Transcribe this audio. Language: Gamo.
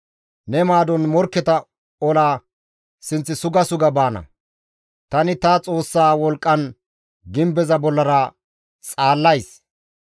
Ne maadon morkketa ola sinth suga suga baana; tani ta Xoossaa wolqqan gimbeza bollara xaallays.